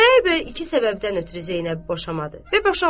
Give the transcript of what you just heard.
Xudayar bəy iki səbəbdən ötrü Zeynəbi boşamadı və boşamazdı.